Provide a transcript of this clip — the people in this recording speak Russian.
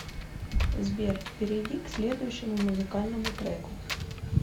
сбер перейди к следующему музыкальному треку